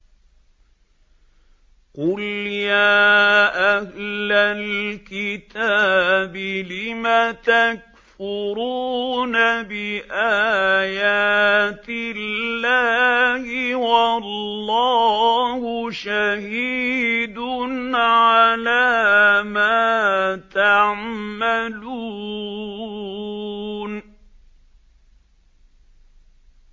قُلْ يَا أَهْلَ الْكِتَابِ لِمَ تَكْفُرُونَ بِآيَاتِ اللَّهِ وَاللَّهُ شَهِيدٌ عَلَىٰ مَا تَعْمَلُونَ